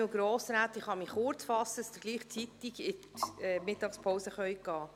Ich kann mich kurzfassen, damit Sie rechtzeitig in die Mittagspause gehen können.